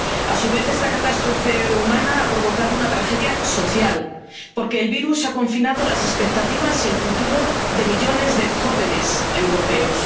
A su vez, esta catástrofe humana ha provocado una tragedia social, porque el virus ha confinado las expectativas y el futuro de millones de jóvenes europeos.